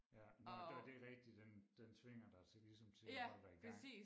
Ja og det det rigtig den den tvinger dig til ligesom til at holde dig i gang